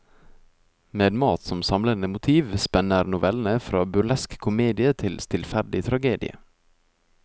Med mat som samlende motiv spenner novellene fra burlesk komedie til stillferdig tragedie.